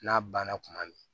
N'a banna tuma min